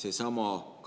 Leo Kunnas, palun!